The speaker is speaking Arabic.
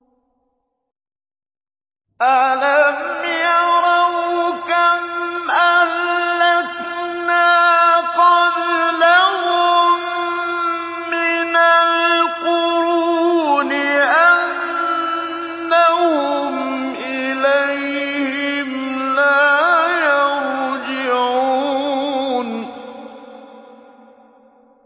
أَلَمْ يَرَوْا كَمْ أَهْلَكْنَا قَبْلَهُم مِّنَ الْقُرُونِ أَنَّهُمْ إِلَيْهِمْ لَا يَرْجِعُونَ